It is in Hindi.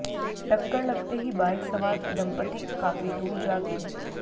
टक्कर लगते ही बाइक सवार दंपती काफी दूर जा गिरे